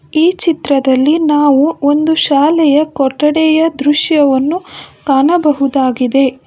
ಈ ಚಿತ್ರದಲ್ಲಿ ನಾವು ಒಂದು ಶಾಲೆಯ ಕೊಠಡಿಯ ದೃಶ್ಯವನ್ನು ಕಾಣಬಹುದಾಗಿದೆ.